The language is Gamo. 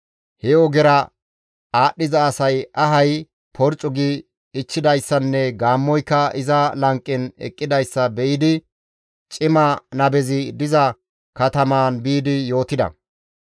He ogera aadhdhiza asay ahay porccu gi ichchidayssanne gaammoyka iza lanqen eqqidayssa be7idi cima nabezi diza katamaan biidi yootida.